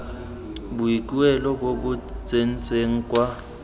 boikuelo bo bo tsentsweng kwa